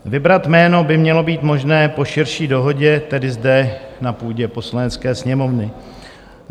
Vybrat jméno by mělo být možné po širší dohodě, tedy zde na půdě Poslanecké sněmovny.